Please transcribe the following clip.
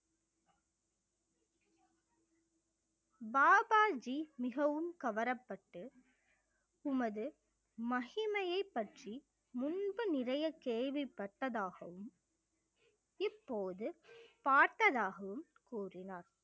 பாபாஜி மிகவும் கவரப்பட்டு உமது மகிமையைப் பற்றி முன்பு நிறைய கேள்விப்பட்டதாகவும் இப்போது பார்த்ததாகவும் கூறினார்